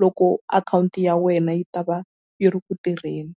loko akhawunti ya wena yi ta va yi ri ku tirheni.